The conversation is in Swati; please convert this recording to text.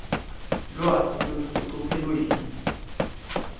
lwati lolusecophelweni